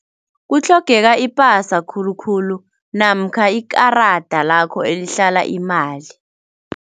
Kutlhogeka ipasa khulukhulu namkha ikarada lakho elihlala imali.